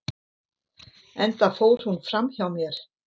enda fór hún fram hjá mér